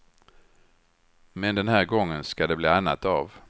Men den här gången ska det bli annat av.